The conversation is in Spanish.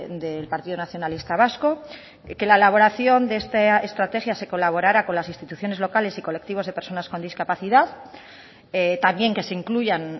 del partido nacionalista vasco que la elaboración de esta estrategia se colaborara con las instituciones locales y colectivos de personas con discapacidad también que se incluyan